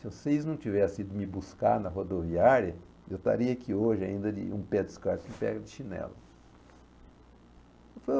Se vocês não tivessem ido me buscar na rodoviária, eu estaria aqui hoje ainda de um pé descalço e um pé de chinelo. Eu falei